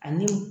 Ani